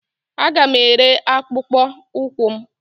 Aga m ere akpụkpọ ụkwụ m